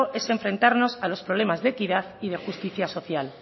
es enfrentarnos a los problemas de equidad y de justicia social